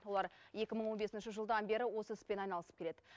олар екі мың он бесінші жылдан бері осы іспен айналысып келеді